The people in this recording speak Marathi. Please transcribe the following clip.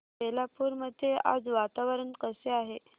बेलापुर मध्ये आज वातावरण कसे आहे